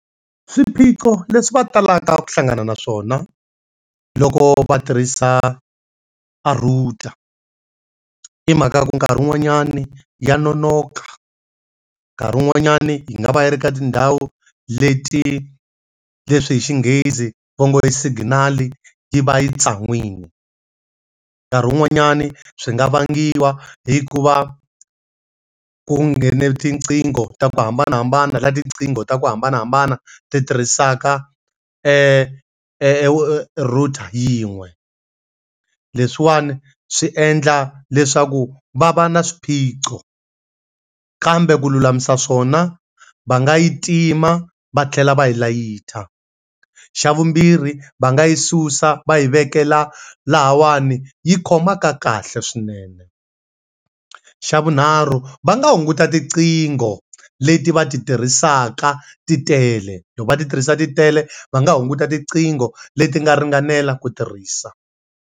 Swiphiqo leswi va talaka ku hlangana naswona loko va tirhisa a router, i mhaka ku nkarhi wun'wanyani ya nonoka, nkarhi wun'wanyani yi nga va yi ri ka tindhawu leti leswi hi Xinghezi va ngo ri i signal yi va yi tsanwile, nkarhi wun'wanyani swi nga vangiwa hikuva ku nghene tinqingho ta ku hambanahambana la tinqingho ta ku hambanahambana ti tirhisaka e router yin'we leswiwani swi endla leswaku va va na swiphiqo kambe ku lulamisa swona va nga yi tima va tlhela va yi layita, xa vumbirhi va nga yi susa va yi vekela lavawani yi khomaka kahle swinene, xa vunharhu va nga hunguta tiqingho leti va ti tirhisaka titele va ti tirhisa titele va nga hunguta tiqingho leti nga ringanela ku tirhisa.